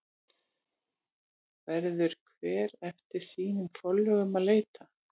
Verður hver eftir sínum forlögum að leita.